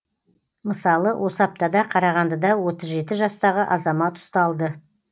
мысалы осы аптада қарағандыда отыз жеті жастағы азамат ұсталды